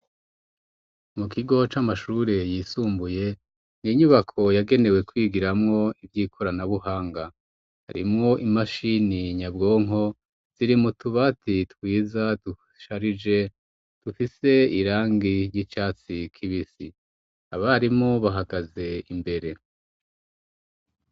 Mu kigo c'amashure yisumbuye inyubako yagenewe kwigiramwo ivy'ikoranabuhanga harimwo imashini nyabwonko ziri mu tubati twiza dusharije dufise irangi ry'icatsi kibisi abarimu bahagaze imbere.